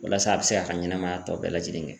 Walasa a bi se ka ɲɛnamaya tɔ bɛɛ lajɛlen kɛ